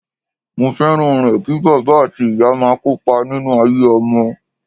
Mo fẹ́ràn rẹ̀ kí bàbá àti ìyá máa kópa nínú ayé ọmọ.